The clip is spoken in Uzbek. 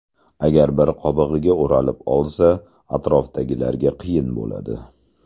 Agar bir qobig‘iga o‘ralib olsa, atrofdagilarga qiyin bo‘ladi.